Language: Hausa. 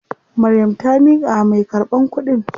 Maryam ta miƙawa mai karɓan kuɗin.